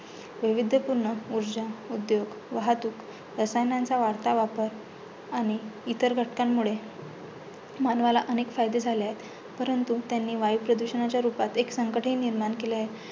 विविध पूर्ण उर्जा, उद्योग, वाहतूक रसायनांचा वाढता वापर आणि इतर घटकांमुळे मानवाला अनेक फायदे झाले आहे. परंतु त्यांनी वायुप्रदुषणाच्या रुपात एक संकट हि निर्माण केले आहे.